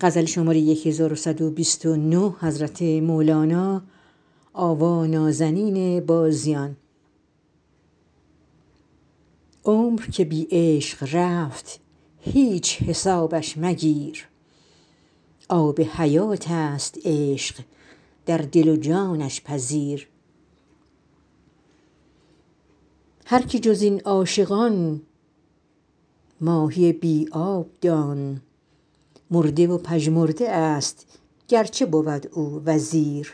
عمر که بی عشق رفت هیچ حسابش مگیر آب حیات ست عشق در دل و جانش پذیر هر که جز این عاشقان ماهی بی آب دان مرده و پژمرده است گر چه بود او وزیر